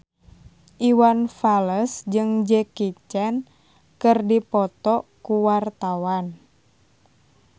Iwan Fals jeung Jackie Chan keur dipoto ku wartawan